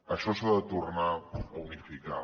això s’ha de tornar a unificar